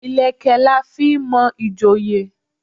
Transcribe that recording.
Ìlẹ̀kẹ̀ la fi n mo ìjòyè